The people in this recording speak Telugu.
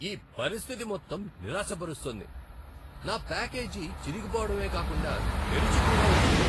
ఈ పరిస్థితి మొత్తం నిరాశపరుస్తోంది . నా ప్యాకేజీ చిరిగిపోవడమే కాకుండా తెరిచి కూడా వచ్చింది.